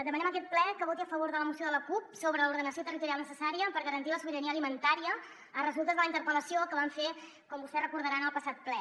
demanem a aquest ple que voti a favor de la moció de la cup sobre l’ordenació territorial necessària per garantir la sobirania alimentària a resultes de la interpel·lació que vam fer com vostès deuen recordar en el passat ple